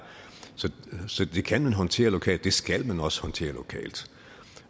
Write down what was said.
så det kan man håndtere lokalt det skal man også håndtere lokalt